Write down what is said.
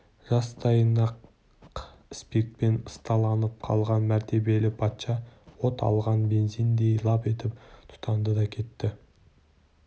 жастайынан-ақ спиртпен ысталып қалған мәртебелі патша от алған бензиндей лап етіп тұтанды да кетті